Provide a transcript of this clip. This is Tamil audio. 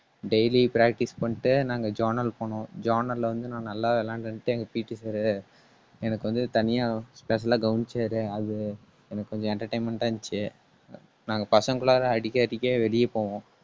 daily practice பண்ணிட்டு நாங்க journal போனோம். journal ல வந்து நான் நல்லா விளையாண்டேன்ட்டு எங்க PT Sir உ எனக்கு வந்து, தனியா special ஆ கவனிச்சாரு. அது எனக்கு கொஞ்சம் entertainment ஆ இருந்துச்சு நாங்க பசங்களாதான் அடிக்கடிக்கே வெளிய போவோம்